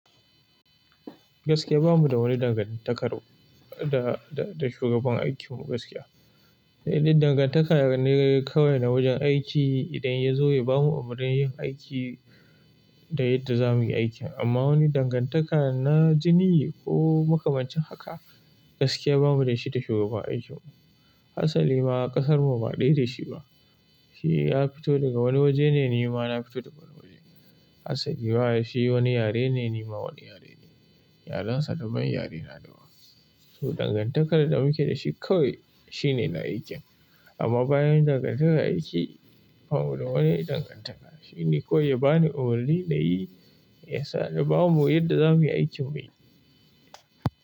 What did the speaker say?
Gaskiya bamu da wani dangantakar da, da, da shugaban aikimu gaskiya. Sai dai dangantaka ne kawai na wajen aiki. Idan yazo ya bamu umurnin aiki da yadda zamuyi aikin amma wani dangantaka na jini ko makamancin haka gaskiya bamu da shi da shugaban aikimu. Hasalima ƙasar mu ba ɗaya da shi ba. Shi ya fito daga wani waje ne, ni ma na fito daga wani waje. Hasa lima shi wani yare ne, ni ma wani yare ne. Yaren sa daban, yare na daban. To dangantakar da muke da shi kawai shine na aikin. Amma bayan dangantakar aiki, bamu da wani dangantaka. Shi ne kawai ya bani umarni na yi, ya sa da babu mu yadda za muyi aikin mu.